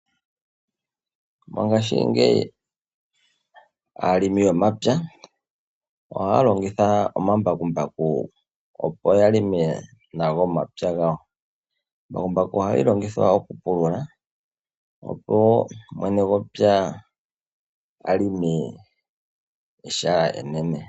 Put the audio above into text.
Mongaashingeyi aalongi yomapya ohaya longitha omambakumbaku opo yalonge nawa omapya gawo. Embakumbaku ohali longithwa oku pulula opo mwene gwepya a vulu oku longa ehala enene.